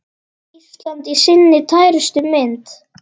Ísland í sinni tærustu mynd.